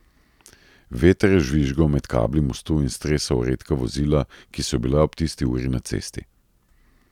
Veter je žvižgal med kabli mostu in stresal redka vozila, ki so bila ob tisti uri na cesti.